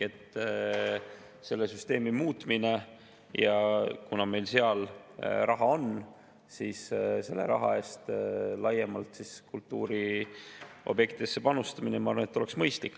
Selle süsteemi muutmine, ja kuna meil seal raha on, selle raha laiemalt kultuuriobjektidesse panustamine, ma arvan, oleks mõistlik.